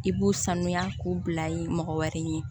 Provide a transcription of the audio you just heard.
I b'u sanuya k'u bila ye mɔgɔ wɛrɛ ye